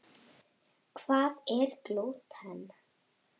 Hvað er glúten?